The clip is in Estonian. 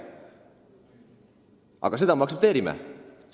Aga seda me aktsepteerime!